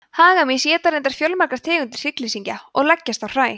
hagamýs éta reyndar fjölmargar tegundir hryggleysingja og leggjast á hræ